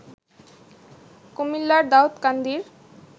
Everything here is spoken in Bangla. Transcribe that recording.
কুমিল্লার দাউদকান্দির